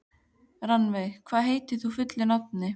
Rannveig, hvað heitir þú fullu nafni?